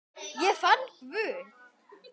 Ég fann Guð.